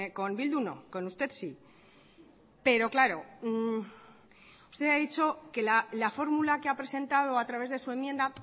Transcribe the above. con bildu no con usted sí pero claro usted ha dicho que la fórmula que ha presentado a través de su enmienda